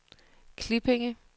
Klippinge